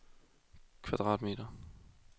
kvadratmeter